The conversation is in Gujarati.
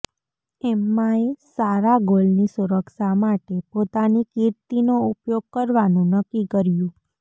એમ્માએ સારા ગોલની સુરક્ષા માટે પોતાની કીર્તિનો ઉપયોગ કરવાનું નક્કી કર્યું